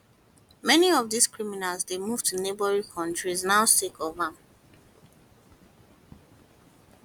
many of dis criminals dey move to neighbouring kontries now sake of am